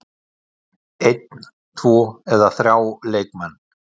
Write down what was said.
Einn, tvo eða þrjá leikmenn?